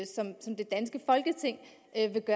ændre